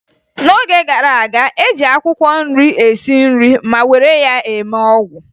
N'oge gara aga, e ji akwụkwọ nri esi nri ma were ya eme ọgwụ